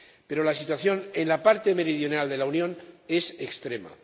Pero la situación en la parte meridional de la Unión es extrema.